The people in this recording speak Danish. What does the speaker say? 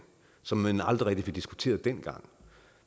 som man aldrig rigtig fik diskuteret dengang